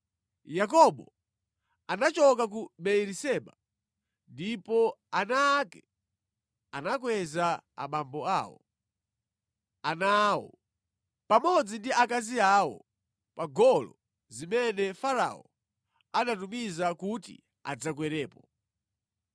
Yakobo anachoka ku Beeriseba, ndipo ana ake anakweza abambo awo, ana awo, pamodzi ndi akazi awo pa ngolo zimene Farao anatumiza kuti adzakwerepo.